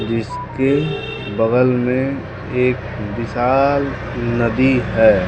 जिसके बगल में एक विशाल नदी है।